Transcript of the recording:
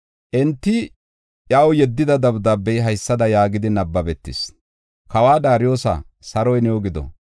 Enti iyaw yeddida dabdaabey haysada yaagidi nabbabetees. Kawa Daariyosa, saroy new gido.